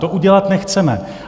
To udělat nechceme.